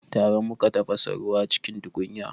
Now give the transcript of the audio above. Tare muka tafasa ruwa cikin tukunya